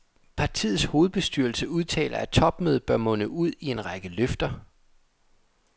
Partiets hovedbestyrelse udtaler, at topmødet bør munde ud i en række løfter.